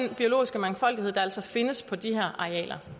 den biologiske mangfoldighed der altså findes på de her arealer